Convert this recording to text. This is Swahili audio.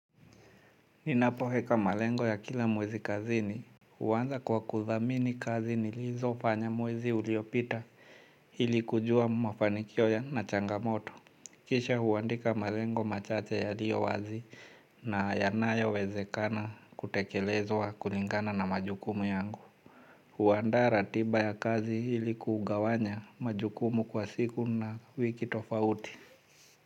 Ninapoweka malengo ya kila mwezi kazini. Huanza kwa kuthamini kazi nilizo fanya mwezi uliopita ili kujua mafanikio yana changamoto. Kisha huandika malengo machache yaliyo wazi na yanayo wezekana kutekelezwa kulingana na majukumu yangu. Huandaa ratiba ya kazi ili kugawanya majukumu kwa siku na wiki tofauti.